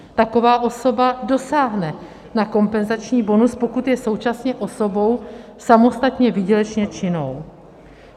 Taková osoba dosáhne na kompenzační bonus, pokud je současně osobou samostatně výdělečně činnou.